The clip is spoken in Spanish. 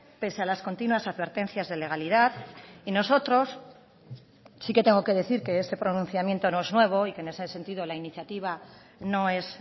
pese a las continuas advertencias de legalidad y nosotros sí que tengo que decir que este pronunciamiento no es nuevo y que en ese sentido la iniciativa no es